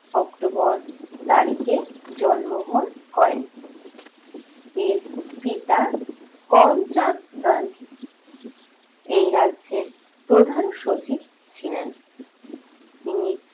october তারিখে জন্মগ্রহণ করেন। এর পিতা করমচাঁদ গান্ধী এই রাজ্যের প্রধান সচিব ছিলেন। ইনি